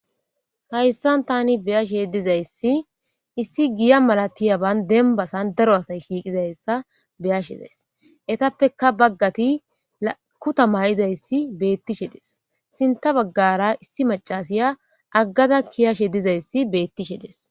Haysan tani beyashe dizayssi issi giya malatiya denbasan daro asay shiqidi dizayssa beyashe dayis etappekka bagati kutta mayzzayssi betishe dees sintha bagara isssi macassiya agada keyashe dizayssi betishe dees.